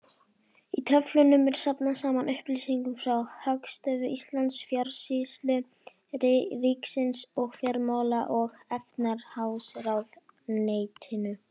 Í töflunum er safnað saman upplýsingum frá Hagstofu Íslands, Fjársýslu ríkisins og Fjármála- og efnahagsráðuneytinu.